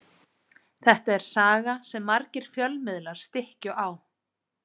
Þetta er saga sem margir fjölmiðlar stykkju á.